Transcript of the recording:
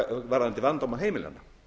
varðandi vandamál heimilanna